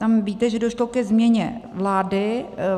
Tam víte, že došlo ke změně vlády.